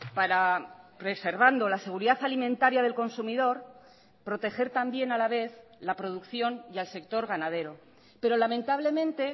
para preservando la seguridad alimentaria del consumidor proteger también a la vez la producción y al sector ganadero pero lamentablemente